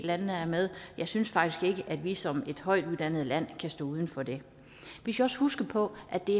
landene er med jeg synes faktisk ikke at vi som et højt uddannet land kan stå uden for det vi skal også huske på at det